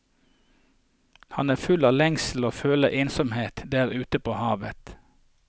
Han er full av lengsel og føler ensomheten der ute på havet.